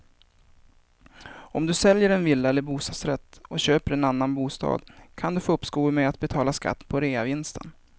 Om du säljer en villa eller bostadsrätt och köper en annan bostad kan du få uppskov med att betala skatt på reavinsten.